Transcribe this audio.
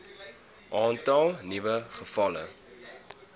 aantal nuwe gevalle